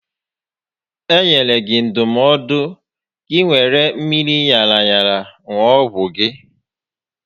E nyere gị ndụmọdụ gị wéré mmiri ṅara aṅa ṅụọ ọgwụ gị